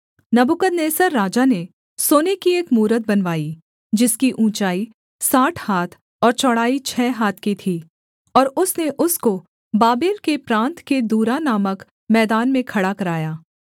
नबूकदनेस्सर राजा ने सोने की एक मूरत बनवाई जिसकी ऊँचाई साठ हाथ और चौड़ाई छः हाथ की थी और उसने उसको बाबेल के प्रान्त के दूरा नामक मैदान में खड़ा कराया